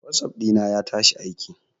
Whatsapp dina ya tashi aiki.